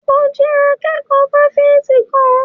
Mo jẹ́ akẹ́kọ̀ọ́ fáfitì kan.